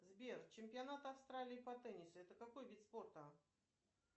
сбер чемпионат австралии по теннису это какой вид спорта